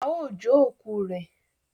ao jo òkú rẹ.